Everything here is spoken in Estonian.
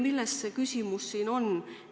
Milles see küsimus siin on?